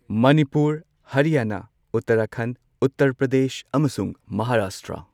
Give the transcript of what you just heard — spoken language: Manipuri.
ꯃꯅꯤꯄꯨꯔ, ꯍꯔꯤꯌꯥꯅꯥ, ꯎꯇ꯭ꯔꯈꯟ, ꯎꯇꯔ ꯄ꯭ꯔꯗꯦꯁ ꯑꯃꯁꯨꯡ ꯃꯍꯥꯔꯥꯁꯇ꯭ꯔꯥ꯫